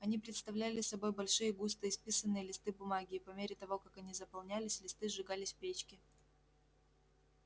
они представляли собой большие густо исписанные листы бумаги и по мере того как они заполнялись листы сжигались в печке